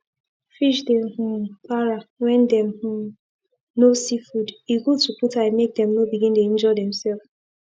fish dey um para when dem um no see food e good to put eye make them no begin dey injure themself